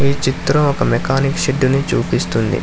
ఈ చిత్రం ఒక మెకానిక్ షెడ్యూ చూపిస్తుంది.